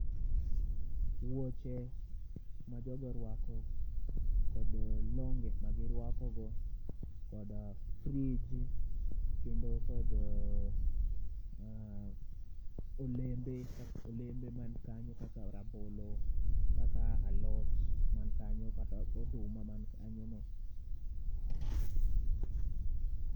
Wuoche majogoruako kod longe magirwakogo kod frij kendo kod, ah, olembe olembe man kanyo kaka rabolo kaka alot man kanyo kata oduma man kanyo no.